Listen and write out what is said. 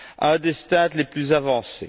un des stades les plus avancés.